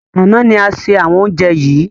Àná ni a ṣe àwọn oúnjẹ yìí